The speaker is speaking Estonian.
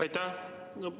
Aitäh!